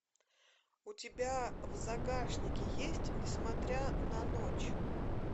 у тебя в загашнике есть не смотря на ночь